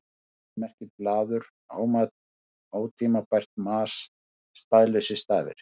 Fleipur merkir blaður, ótímabært mas, staðlausir stafir.